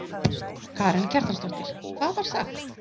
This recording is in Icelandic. Karen Kjartansdóttir: Hvað var sagt?